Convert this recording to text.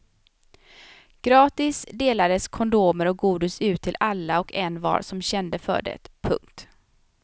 Gratis delades kondomer och godis ut till alla och envar som kände för det. punkt